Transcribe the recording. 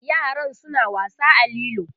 yaran suna wasa a lilo